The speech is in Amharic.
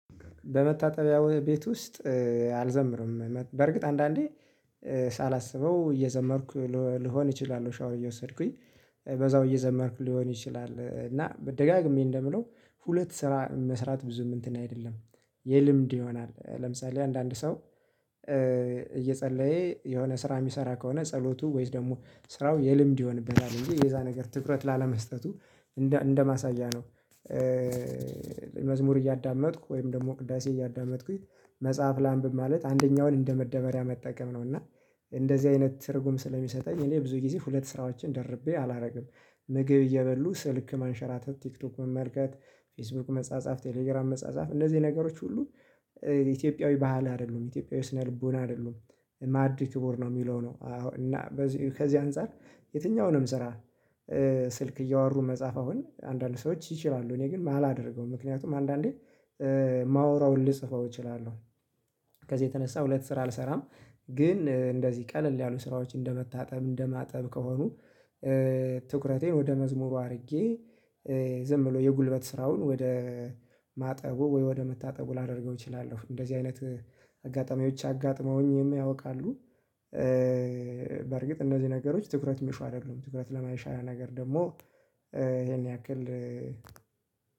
በመታጠቢያው ቤት ውስጥ አልዘምርም በርግጥ አንዳንዴ ሳላስበው እየዘመርኩ ልሆን እችላለሁ ሻወር እየወሰድኩኝ በዛው እየዘመርኩ ሊሆን ይችላል። እና ደጋግሜ እንደምለው ሁለት ስራ መስራት ብዙም እንትን አይደለም የልምድ ይሆናል ለምሳሌ አንዳንድ ሰው እየጸለየ የሆነ ስራ የሚሰራ ከሆነ ጸሎቱ ወይስ ደግሞ ስራው የልምድ ይሆንበታል እንጂ የዛ ነገር ትኩረት ላለመስጠቱ እንደ እንደማሳያ ነው። መዝሙር እያዳመጥኩ ወይም ደግሞ ቅዳሴ እያዳመጥኩኝ መጽሐፍ ላንብብ ማለት አንደኛውን እንደ መደበሪያ መጠቀም ነው እና እንደዚህ አይነት ትርጉም ስለሚሰጠኝ እኔ ብዙ ጊዜ ሁለት ስራዎችን ደርቤ አላደርግም። ምግብ እየበሉ ስልክ ማንሸራተት ቲክቶክ መመልከት ፌስቡክ መጻጻፍ ቴሌግራም መጻጻፍ እነዚህ ነገሮች ሁሉ ኢትዮጵያዊ ባህል አይደሉም ኢትዮጵያዊው ስነ ልቦና አይደሉም። ማዕድ ክቡር ነው የሚለው ነው። እና ከዚህ ከዚህ አንፃር የትኛውንም ስራ ስልክ እያወሩ መጻፍ አሁን አንዳንድ ሰዎች ይችላሉ እኔ ግን ማ አላደርገውም ምክንያቱም አንዳንዴ ማወራውን ልጽፈው እችላለሁ። ከዚህ የተነሳ ሁለት ስራ አልሰራም። ግን እንደዚህ ቀለል ያሉ ስራዎች እንደመታጠብ እንደማጠብ ከሆኑ ትኩረቴ ወደ መዝሙሩ አድርጌ ዝም ብሎ የጉልበት ስራውን ወደ ማጠቡ ወይ ወደ መታጠቡ ላደርገው እችላለሁ እንደዚህ አይነት አጋጣሚዎች አጋጥመውኝም ያውቃሉ። በርግጥ እነዚህ ነገሮች ትኩረት የሚሹ አይደሉም ትኩረት ለማይሻ ነገር ደግሞ ይሄን ያክል